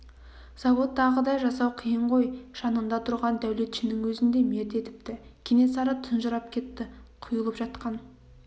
заводтағыдай жасау қиын ғой жанында тұрған дәулетшінің өзін де мерт етіпті кенесары тұнжырап кетті құйылып жатқан